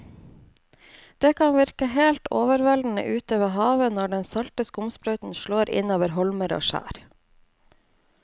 Det kan virke helt overveldende ute ved havet når den salte skumsprøyten slår innover holmer og skjær.